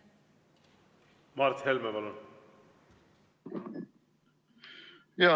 Mart Helme, palun!